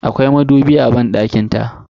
Akwai madubi a banɗakin ta.